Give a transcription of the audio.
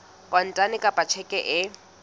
kontane kapa ka tjheke e